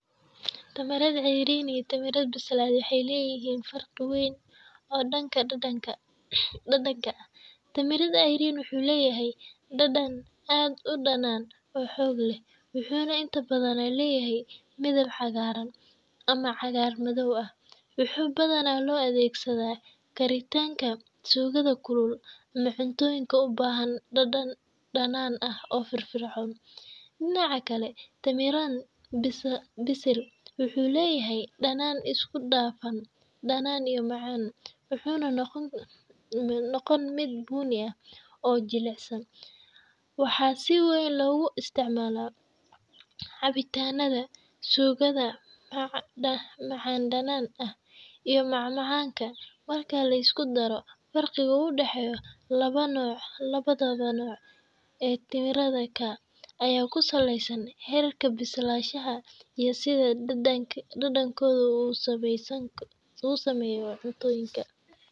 Midhaha tamarind cayriin ah waxay leeyihiin dhadhan aad u qadhaadh oo aysaan badanaa dadku si toos ah u cuni karin, maadaama ay yihiin kuwa aan weli si buuxda u bislaan oo leh aashito sare, taas oo ka dhigta dhadhankooda mid si daran u dhanaan, mararka qaarna xitaa xanuun u eg. Dhadhanka cayriinka tamarind-ka waxa uu ku habboon yahay isticmaalka suugada iyo hilibka lagu carfiyo si loo helo dhadhan xooggan. Dhanka kale, midhaha tamarind bisil ah waxay leeyihiin dhadhan macaan-dhanaan isku dhafan ah.